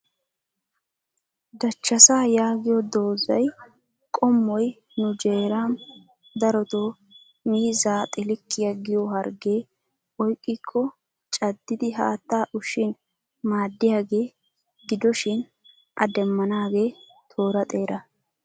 Dachchasa yaagiyo doozay qommoy nu jeeram darotoo miizaa xilikkiya giyo hargge oyqqiko caddidi haattaa ushshin maadiyaage gidoshin a demmanage toora xeera.